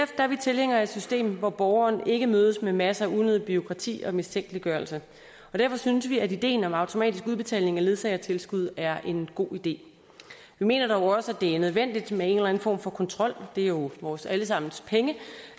er vi tilhængere af et system hvor borgeren ikke mødes med masser af unødigt bureaukrati og mistænkeliggørelse og derfor synes vi at ideen om automatisk udbetaling af ledsagertilskud er en god idé vi mener dog også at det er nødvendigt med en eller anden form for kontrol det er jo vores alle sammens penge